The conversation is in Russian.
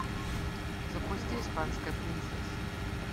запусти испанская принцесса